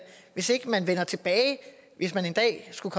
hvis ikke man hvis man en dag skulle